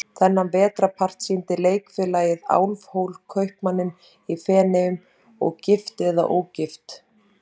Þennan vetrarpart sýndi Leikfélagið Álfhól, Kaupmanninn í Feneyjum og Gift eða ógift?